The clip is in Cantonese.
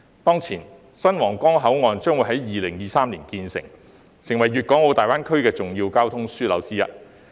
當前，新皇崗口岸將於2023年建成，成為粵港澳大灣區的重要交通樞紐之一。